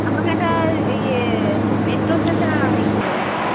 আমাকে একটা ইয়ে Metro Station এ নামিয়ে ছিল